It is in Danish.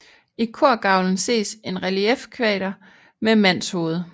I korgavlen ses en reliefkvader med mandshoved